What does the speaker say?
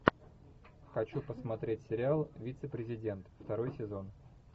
хочу посмотреть сериал вице президент второй сезон